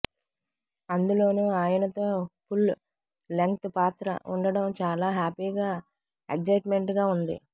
అందులోనూ ఆయన తో ఫుల్ లెంగ్త్ పాత్ర వుండటం చాలా హ్యపిగా ఎగ్జైట్మెంట్ గా వుంది